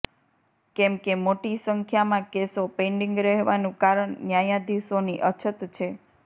કેમકે મોટી સંખ્યામાં કેસો પેન્ડિંગ રહેવાનું કારણ ન્યાયાધીશોની અછત છે